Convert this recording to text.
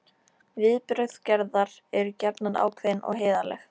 Viðbrögð Gerðar eru gjarnan ákveðin og heiðarleg.